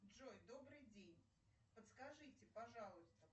джой добрый день подскажите пожалуйста